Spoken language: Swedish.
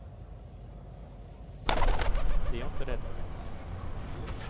Det är jag inte rädd för.